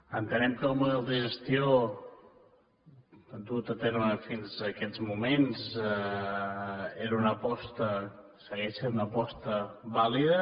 entenem que el model de gestió dut a terme fins aquests moments era una aposta segueix sent una aposta vàlida